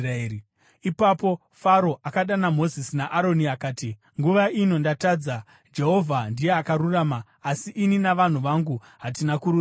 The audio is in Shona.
Ipapo Faro akadana Mozisi naAroni akati, “Nguva ino ndatadza. Jehovha ndiye akarurama asi ini navanhu vangu hatina kururama.